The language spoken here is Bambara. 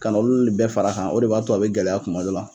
Ka na olu ni bɛɛ far'a kan, o de b'a to a bɛ gɛlɛya kuma dɔw la.